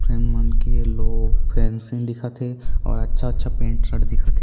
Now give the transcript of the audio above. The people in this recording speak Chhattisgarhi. फैन के लोग फैंसिंग दिखत हे अऊ अच्छा-अच्छा पेंट शर्ट दिखत हे।